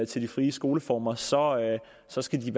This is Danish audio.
til de frie skoleformer så så skal de